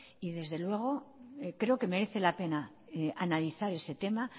y desde luego creo que merece la tema analizar ese tema